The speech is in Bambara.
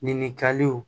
Ɲininkaliw